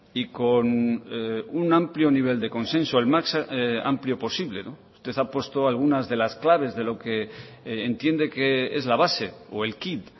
y con un amplio nivel de consenso más amplio posible usted ha puesto algunas de las claves de lo que entiende que es la base o el quid